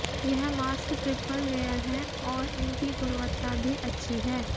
यह mask triple layer हैं और इनकी गुणवत्ता भी अच्छी है